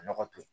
Nɔgɔ to yen